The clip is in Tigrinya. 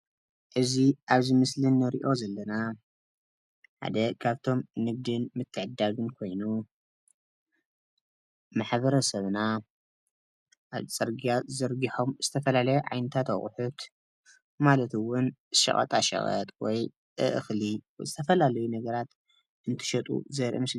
እዚ ኣብ እዚ ምስሊ እንሪኦ ዘለና ሓደ ካብቶም ንግዲን ምትዕድዳግን ኮይኑ ማሕበረብና ኣብ ፅርግያ ዘርጊሖም ዝተፈላለየ ዓይነታት ኣቁሑት ማለት እውን ሸቀጣ ሸቀጥ ወይ እክሊ ምስ ዝተፈላለዩ ነገራት እንትሸጡ ዘርኢ ምስሊ እዩ፡፡